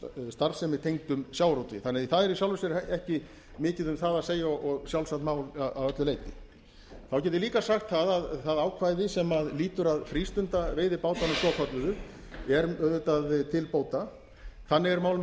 starfsemi tengdri sjávarútvegi þannig að það er í sjálfu sér ekki mikið um það að segja og sjálfsagt mál að öllu leyti þá get ég líka sagt að það ákvæði sem lýtur að frístundaveiðibátunum svokölluðu er auðvitað til bóta þannig er mál með